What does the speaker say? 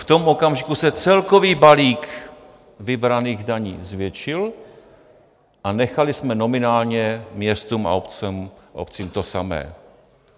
V tom okamžiku se celkový balík vybraných daní zvětšil a nechali jsme nominálně městům a obcím to samé.